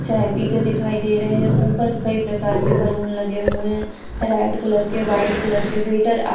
चाय पीते दिखाई दे रहे हैं ऊपर कई प्रकार के बैलून लगे हुए हैं रेड कलर के व्हाइट कलर के वेटर --